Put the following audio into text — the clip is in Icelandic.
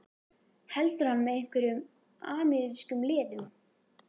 Heldur hann með einhverjum amerískum liðum?